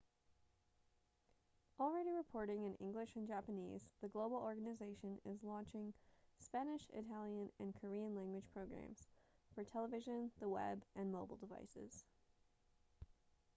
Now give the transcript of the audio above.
already reporting in english and japanese the global organization is launching spanish italian and korean-language programs for television the web and mobile devices